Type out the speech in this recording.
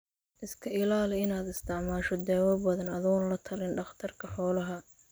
Iska ilaali inaad isticmaasho daawo badan adoon latalin dhakhtarka xoolaha.